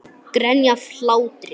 Grenja af hlátri.